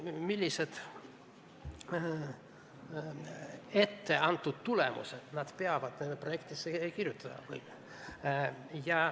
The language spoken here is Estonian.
Millised etteantud tulemused nad peavad projektidesse kirjutama?